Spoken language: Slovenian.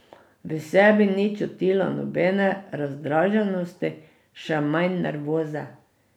V sebi ni čutila nobene razdraženosti, še manj nervoze.